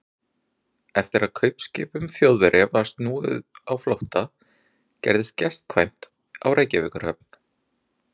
Eftir að kaupskipum Þjóðverja var snúið á flótta, gerðist gestkvæmt á Reykjavíkurhöfn.